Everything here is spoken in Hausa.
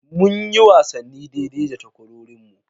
Munyi wasanni daidai da takwarorinmu.